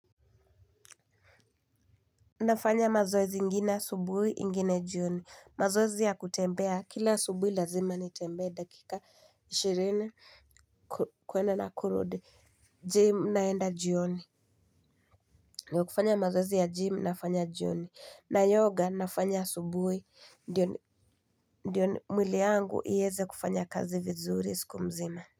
Nafanya mazoezi ingine asubuhi ingine jioni mazoezi ya kutembea kila asubuhi lazima nitembee dakika ishirini kuenda na kurudi gym naenda jioni na kufanya mazoezi ya gym nafanya jioni na yoga nafanya asubuhi ndio mwili yangu ieze kufanya kazi vizuri siku mzima.